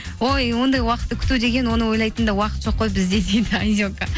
ой ондай уақытты күту деген оны ойлайтын да уақыт жоқ қой бізде дейді айзека